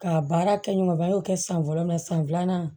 K'a baara kɛɲɔgɔnba y'o kɛ san fɔlɔ mɛ san filanan